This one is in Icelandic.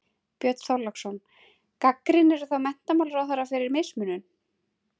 Björn Þorláksson: Gagnrýnirðu þá menntamálaráðherra fyrir mismunun?